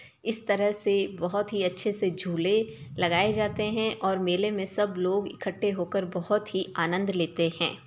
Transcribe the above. इस तरह से बोहोत ही अच्छे से झूले लगाए जाते हैं और मेले में सब लोग इकट्ठे होकर बोहोत ही आनंद लेते हैं।